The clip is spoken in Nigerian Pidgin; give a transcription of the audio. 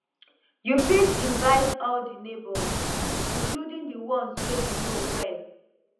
you fit invite all di neighbors including di ones wey you no know well